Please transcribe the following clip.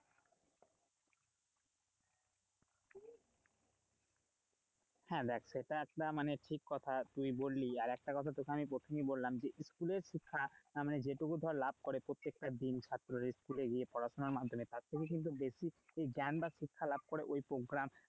হ্যাঁ, দেখ সেটা একটা ঠিক কথা তুই বললি আর একটা কথা তোকে আমি প্রথমেই বললাম যে স্কুলের শিক্ষা যেটুকু ধর লাভ করে প্রত্যেকটা দিন ছাত্ররা স্কুলে গিয়ে পড়াশোনা মাধ্যমে তার থেকে কিন্তু বেশি জ্ঞান বা শিক্ষা লাভ করে ওই program,